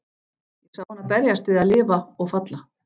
Ég sá hana berjast við að lifa- og falla.